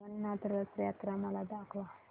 जगन्नाथ रथ यात्रा मला दाखवा